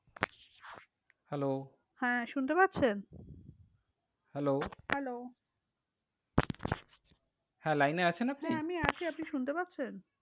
Hello হ্যাঁ শুনতে পারছেন? hello hello হ্যাঁ line এ আছেন আপনি? হ্যাঁ আছি আপনি শুনতে পাচ্ছেন?